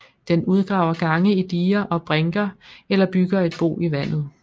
Den udgraver gange i diger og brinker eller bygger et bo i vandet